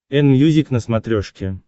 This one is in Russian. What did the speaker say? энмьюзик на смотрешке